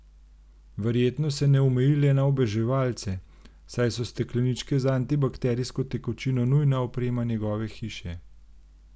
Verjetno se ne omeji le na oboževalce, saj so stekleničke z antibakterijsko tekočino nujna oprema njegove hiše.